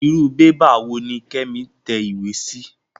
Irú bébà wò ní Kẹ́mi tẹ ìwé sí?